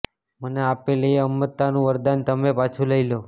મને આપેલ એ અમરતાનું વરદાન તમે પાછું લઈ લો